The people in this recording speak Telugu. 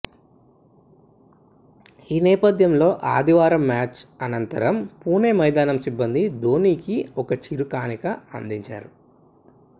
ఈ నేపథ్యంలో ఆదివారం మ్యాచ్ అనంతరం పూణె మైదానం సిబ్బంది ధోనీకి ఒక చిరు కానుక అందజేశారు